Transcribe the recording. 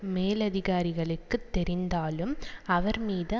மேலதிகாரிகளுக்கு தெரிந்தாலும் அவர் மீது